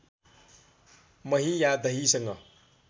मही या दहीसँग